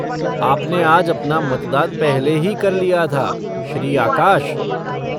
आपने आज अपना मतदान पहले ही कर लिया था श्री आकाश।